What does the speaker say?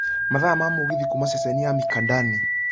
mathaa ma mũgithi kuuma ceceni ya mikindani